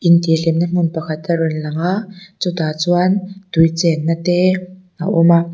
in tih hlimna hmun pakhat a rawn lang a chu tah chuan tui chenna te a awm a.